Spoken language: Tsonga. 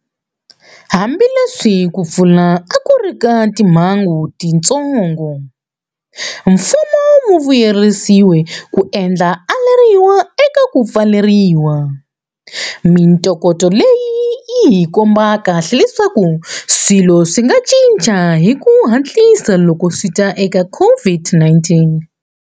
Hambileswi ku pfuna a ku ri ka timhangu tintsongo, mfumo wu vuyelerisile ku endla aleriwa eka ku pfaleriwa. Mitokoto leyi yihi komba kahle leswaku swilo swi nga cinca hi ku hatlisa loko swita eka COVID-19.